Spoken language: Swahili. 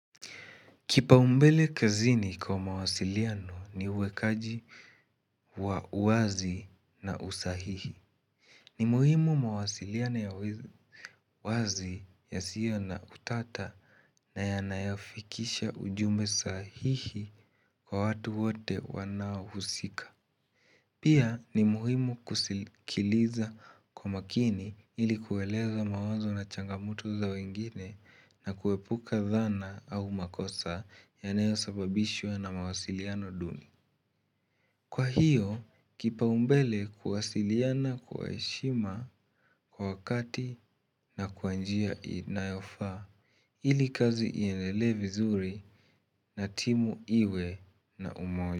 Kipaumbele kazini kwa mawasiliano ni uwekaji wa uwazi na usahihi. Ni muhimu mawasiliano ya uazi yasio na utata na yanayafikisha ujumbe sahihi kwa watu wote wanaohusika. Pia ni muhimu kusikiliza kwa makini ili kueleza mawazo na changamoto za wengine na kuepuka dhana au makosa yanayosababishwa na mawasiliano duni. Kwa hiyo, kipaumbele kuwasiliana kwa heshima kwa wakati na kwa njia inayofaa ili kazi iendelee vizuri na timu iwe na umoja.